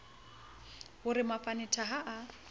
ho re mafanetha ha a